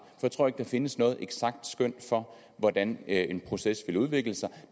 jeg tror ikke der findes noget eksakt skøn for hvordan en proces vil udvikle sig